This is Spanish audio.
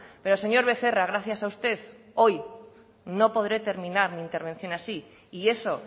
pero señor becerra gracias a usted hoy no podré terminar mi intervención así y eso